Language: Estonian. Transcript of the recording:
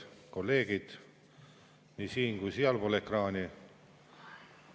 Kolleegid nii siin‑ kui ka sealpool ekraani!